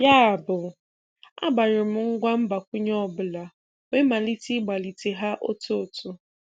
Yabụ, agbanyụrụ m ngwa mgbakwunye ọ bụla wee malite ịgbalite ha otu otu.